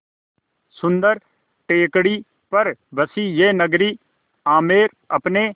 सुन्दर टेकड़ी पर बसी यह नगरी आमेर अपने